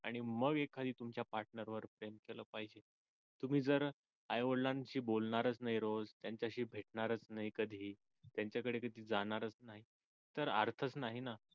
आणि मग एखादी तुमच्या partner वर प्रेम केलं पाहिजे तुम्ही जर आई वडिलांशी बोलणारच नाही रोज त्यांच्याशी भेटणारच नाही कधी त्यांच्या कडे कधी जाणार नाही तर अर्थच नाही ना